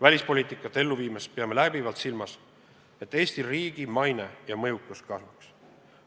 Välispoliitikat ellu viies peame läbivalt silmas, et Eesti riigi maine tõuseks ja meie mõjukus kasvaks.